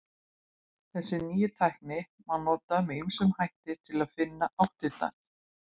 Þessa nýju tækni má nota með ýmsum hætti til að finna áttirnar.